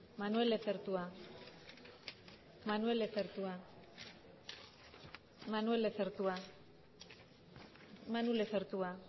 manuel lezertua manuel lezertua manuel lezertua manu lezertua